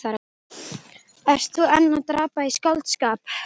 Ert þú enn að drabba í skáldskap?